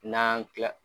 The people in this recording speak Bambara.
N'an kila